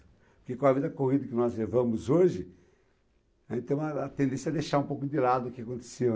Porque com a vida corrida que nós levamos hoje, a gente tem uma a tendência é deixar um pouco de lado o que aconteceu.